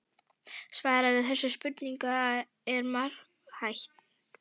Svarið við þessum spurningum er margþætt.